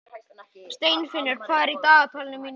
Steinfinnur, hvað er í dagatalinu mínu í dag?